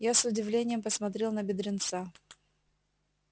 я с удивлением посмотрел на бедренца